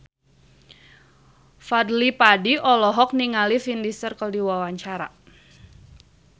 Fadly Padi olohok ningali Vin Diesel keur diwawancara